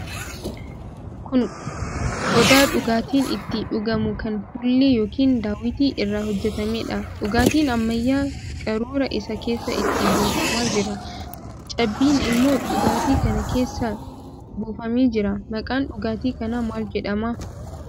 Kun qodaa dhugaatiin itti dhugamu kan fuullee yookiin daawwitii irraa hojjetameedha. Dhugaatiin ammayyaa qaruuraa isaa keessaa itti buufamaa jira. Cabbiin immoo dhugaatii kana keessa buufamee jira. Maqaan dhugaatii kanaa maal jedhama?